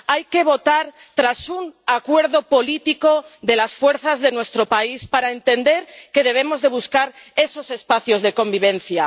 Hay que votar tras un acuerdo político de las fuerzas de nuestro país, para entender que debemos buscar esos espacios de convivencia.